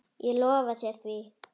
Ég lofa þér því.